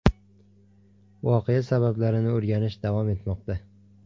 Voqea sabablarini o‘rganish davom etmoqda.